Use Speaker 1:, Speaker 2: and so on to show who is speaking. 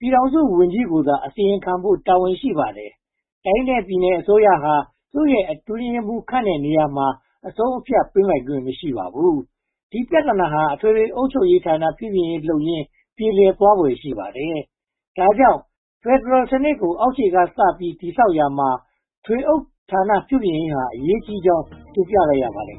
Speaker 1: ပြည်ထောင်စုဝန်ကြီးကိုသာ အစီရင်ခံဖို့ တာဝန်ရှိပါတယ်။ တိုင်းနဲ့ပြည်နယ်အစိုးရဟာ သူတို့ရဲ့အတွင်းရေးမှူး ခန့်အပ်တဲ့နေရာမှာ အဆုံးအဖြတ်ပေးနိုင်ခွင့် မရှိပါဘူး။ ဒီပြဿနာတွေဟာ အထွေထွေအုပ်ချုပ်ရေးဌာန ပြုပြင်ရေးလုပ်ရင်း ပြေလည်သွားဖွယ် ရှိပါတယ်။ ဒါကြောင့် ဖယ်ဒရယ်စနစ်ကို အောက်ခြေက
Speaker 2: စပြီး တည်ဆောက်ရာမှာ ထွေအုပ်ဌာန ပြုပြင်ရေးဟာ အရေးကြီးကြောင်း တင်ပြလိုက်ရပါတယ်